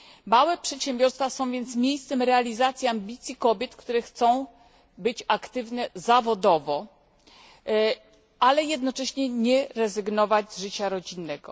Małe przedsiębiorstwa są więc miejscem realizacji ambicji kobiet, które chcą być aktywne zawodowo, ale jednocześnie nie chcą rezygnować z życia rodzinnego.